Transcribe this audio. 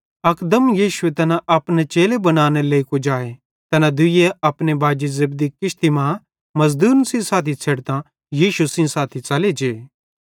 अकदम यीशुए तैना अपने चेले बनानेरे लेइ कुजाए तैना दुइये अपने बाजी जब्दी किश्ती मां मज़दूरन सेइं साथी छ़ेडतां यीशु सेइं साथी च़ले जे